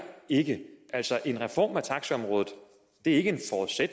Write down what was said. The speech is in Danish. ikke altså en reform af taxaområdet er ikke